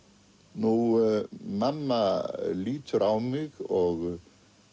nú mamma lítur á mig og